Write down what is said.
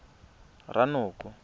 ranoko